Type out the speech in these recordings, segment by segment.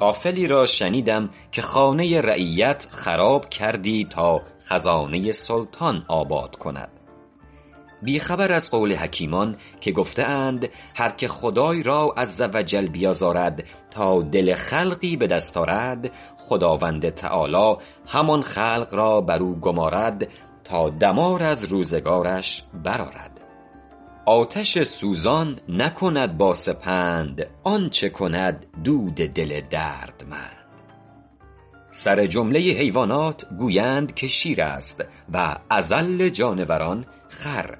غافلی را شنیدم که خانه رعیت خراب کردی تا خزانه سلطان آباد کند بی خبر از قول حکیمان که گفته اند هرکه خدای را -عزوجل- بیازارد تا دل خلقی به دست آرد خداوند تعالیٰ همان خلق را بر او گمارد تا دمار از روزگارش برآرد آتش سوزان نکند با سپند آنچه کند دود دل دردمند سرجمله حیوانات گویند که شیر است و اذل جانوران خر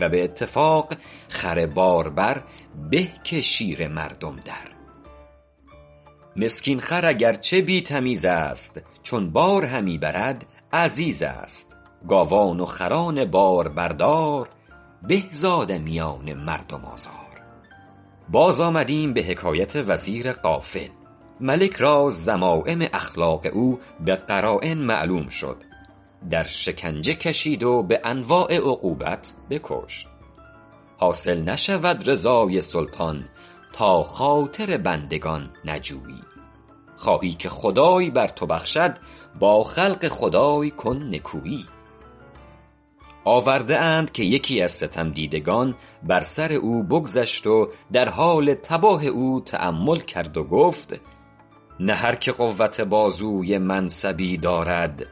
و به اتفاق خر باربر به که شیر مردم در مسکین خر اگر چه بی تمیز است چون بار همی برد عزیز است گاوان و خران باربردار به ز آدمیان مردم آزار باز آمدیم به حکایت وزیر غافل ملک را ذمایم اخلاق او به قراین معلوم شد در شکنجه کشید و به انواع عقوبت بکشت حاصل نشود رضای سلطان تا خاطر بندگان نجویی خواهی که خدای بر تو بخشد با خلق خدای کن نکویی آورده اند که یکی از ستم دیدگان بر سر او بگذشت و در حال تباه او تأمل کرد و گفت نه هرکه قوت بازوی منصبی دارد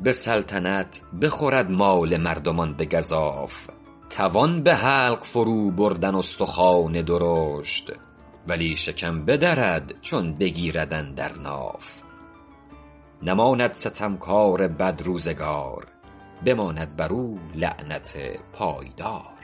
به سلطنت بخورد مال مردمان به گزاف توان به حلق فرو بردن استخوان درشت ولی شکم بدرد چون بگیرد اندر ناف نماند ستم کار بدروزگار بماند بر او لعنت پایدار